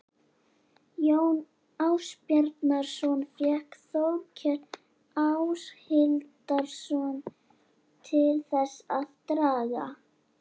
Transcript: Jón Ásbjarnarson fékk Þórkel Áshildarson til þess að draga